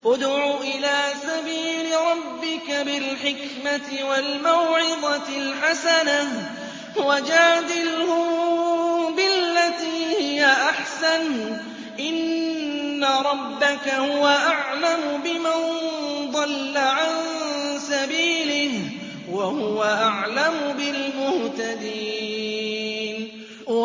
ادْعُ إِلَىٰ سَبِيلِ رَبِّكَ بِالْحِكْمَةِ وَالْمَوْعِظَةِ الْحَسَنَةِ ۖ وَجَادِلْهُم بِالَّتِي هِيَ أَحْسَنُ ۚ إِنَّ رَبَّكَ هُوَ أَعْلَمُ بِمَن ضَلَّ عَن سَبِيلِهِ ۖ وَهُوَ أَعْلَمُ بِالْمُهْتَدِينَ